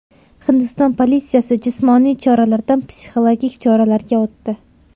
Hindiston politsiyasi jismoniy choralardan psixologik choralarga o‘tdi.